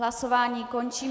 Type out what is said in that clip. Hlasování končím.